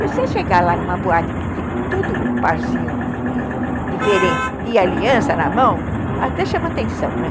E você chegar lá numa boate que tem tudo parzinho, diferente, de aliança na mão, até chama atenção, né?